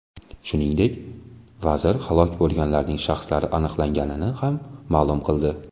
Shuningdek, vazir halok bo‘lganlarning shaxslari aniqlanganini ham ma’lum qildi.